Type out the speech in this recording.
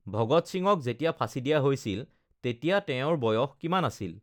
ভগৎ সিংক যেতিয়া ফাঁচী দিয়া হৈছিল তেতিয়া তেওঁৰ বয়স কিমান আছিল?